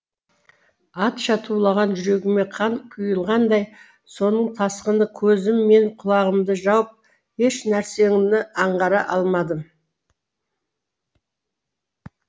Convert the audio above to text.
атша тулаған жүрегіме қан құйылғандай соның тасқыны көзім мен құлағымды жауып еш нәрсені аңғара алмадым